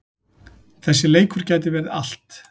Þessi leikur gæti verið allt.